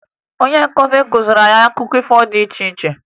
Onye nkuzi kuziri anyị akụkọ ifo dị iche iche